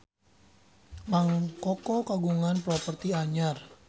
Mang Koko kagungan properti anyar